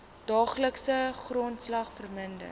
daaglikse grondslag verminder